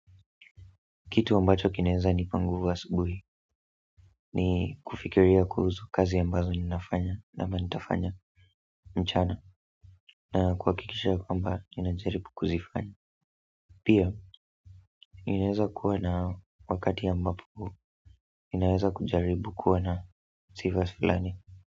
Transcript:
Kitu ambacho kinaeza nipa nguvu asubuhi ni kufikiria kuhusu kazi ambazo ninafanya ama nitafanya mchana na kuhakikisha kwamba ninajaribu kuzifanya pia, inaweza kuwa na wakati ambapo, inaweza kujaribu kuwa na sifas filani.